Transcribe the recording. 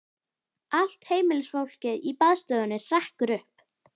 Allt heimilisfólkið í baðstofunni hrekkur upp.